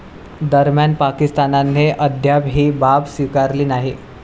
दरम्यान, पाकिस्तानने अद्याप ही बाब स्वीकारली नाही.